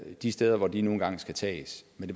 de steder de nu engang skal tages men